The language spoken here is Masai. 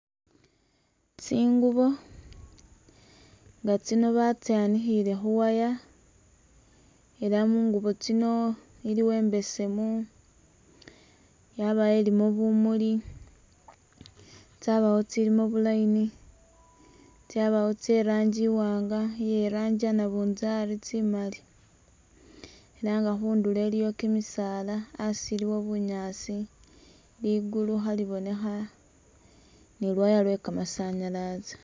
Tsingubo nga tsino batsanikhile khu wire ela mungubo tsino i'liwo imbesemu, yabawo i'limo bumuli, tsabawo i'tsilimo bu line , tsabawo i'tsilimo i'rangi i'waanga, iye i'rangi iye nabinzari tsimali, ela nga khundulo i'liyo kimisaala asi iliwo bunyaasi , ligulu khalibonkha ni lu wire lwe kamasanyalazi.